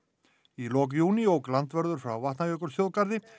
í lok júní ók landvörður frá Vatnajökulsþjóðgarði